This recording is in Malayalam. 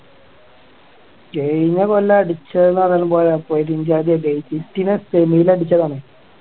കഴിഞ്ഞ കൊല്ലം അടിച്ചെന്ന് പറഞ്ഞാലും പോരാ പെരുംജാതി അടി ആയി പോയി അടിച്ചതാണേ